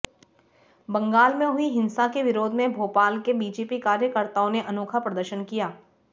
बंगाल में हुई हिंसा के विरोध में भोपाल के बीजेपी कार्यकर्ताओं ने अनोखा प्रदर्शन किया